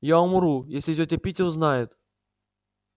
я умру если тётя питти узнает